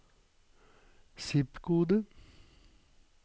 zip-kode